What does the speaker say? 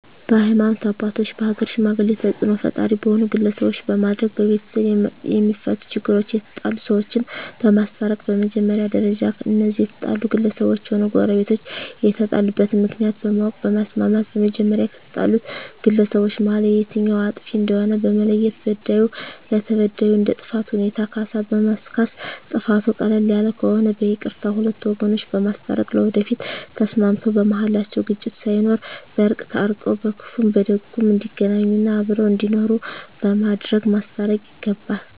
በሀይማኖት አባቶች በሀገር ሽማግሌ ተፅእኖ ፈጣሪ በሆኑ ግለሰቦች በማድረግ በቤተሰብ የማፈቱ ችግሮች የተጣሉ ሰዎችን በማስታረቅ በመጀመሪያ ደረጃ እነዚያ የተጣሉ ግለሰቦችም ሆነ ጎረቤቶች የተጣሉበትን ምክንያት በማወቅ በማስማማት በመጀመሪያ ከተጣሉት ግለሰቦች መሀል የትኛዉ አጥፊ እንደሆነ በመለየት በዳዩ ለተበዳዩ እንደ ጥፋቱ ሁኔታ ካሳ በማስካስ ጥፋቱ ቀለል ያለ ከሆነ በይቅርታ ሁለቱን ወገኖች በማስታረቅ ለወደፊቱ ተስማምተዉ በመሀላቸዉ ግጭት ሳይኖር በእርቅ ታርቀዉ በክፉም በደጉም እንዲገናኙ እና አብረዉ እንዲኖሩ በማድረግ ማስታረቅ ይገባል